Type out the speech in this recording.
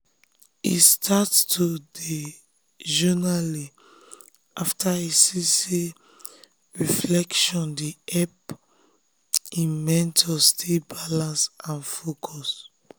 e start to dey journaling after e see say reflection dey help him mentor stay balanced and focused.